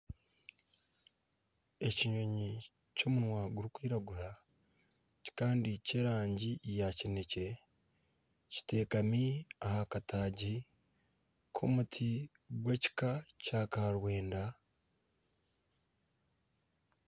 Ekinyonyi ky'omunwa gurikwiragura kandi ky'erangi ya kinekye kiteekami aha kataagi k'omuti gw ekika kya karwenda.